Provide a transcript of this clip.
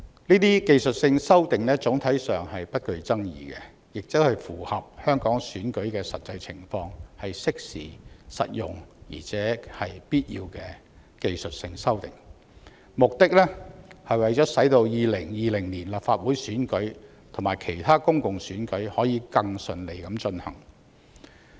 該等技術性修訂總體上不具爭議，且符合香港選舉的實際情況，是適時、實用且必要的技術性修訂，目的是為了使2020年立法會選舉及其他公共選舉可以更順利地進行。